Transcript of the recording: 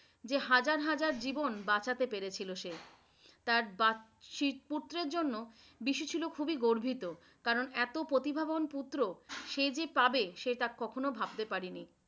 যে হাজার হাজার জীবন বাঁচাতে পেরেছে সে। তার পুত্রের জন্য বিশু ছিলো খুবই গর্বিত, কারন এতো প্রতিভাবান পুত্র সে যে পাবে সে তা কখনোই ভাবতে পারেনি।